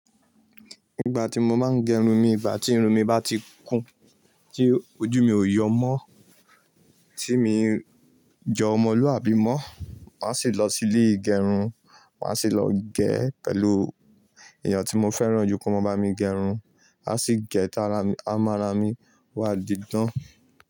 Ìgbà tí mo máa ń gẹrun mi, ìgbà tí irun mi bá ti kún, tí ojú mi ò yọ mọ́, tí mi jo ọmọlúwàbí mọ́, màá sì lọ sí ilé ìgẹrun. Màá sì lọ gẹ́ pẹ̀lú èèyàn tí mo fẹ́ràn jù kí ó máa bá mi gẹrun. A sì gẹ ta ara mi, a máa ra mi wá didán.